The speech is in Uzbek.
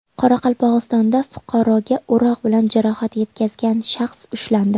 Qoraqalpog‘istonda fuqaroga o‘roq bilan jarohat yetkazgan shaxs ushlandi.